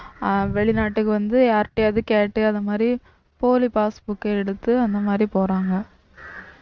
வெளிநாட்டுக்கு வந்து யார் கிட்டயாவது கேட்டு அந்த மாதிரி போலி passbook எடுத்து அந்த மாதிரி போறாங்க